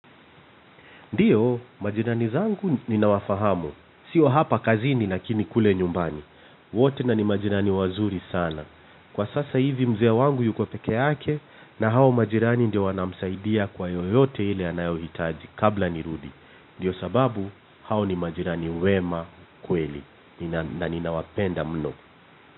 Ndiyo, majirani zangu ninawafahamu. Sio hapa kazini lakini kule nyumbani. Wote na ni majirani wazuri sana. Kwa sasa hivi mzee wangu yuko pekee yake na hao majirani ndio wanamsaidia kwa yoyote ile anayohitaji kabla nirudi. Ndiyo sababu hao ni majirani wema kweli na ninawapenda mno.